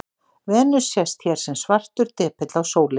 Venus sést hér sem svartur depill á sólinni.